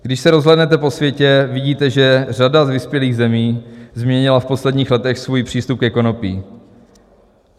Když se rozhlédnete po světě, vidíte, že řada z vyspělých zemí změnila v posledních letech svůj přístup ke konopí.